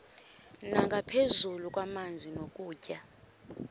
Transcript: nangaphezu kwamanzi nokutya